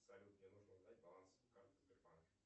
салют мне нужно узнать баланс карты сбербанка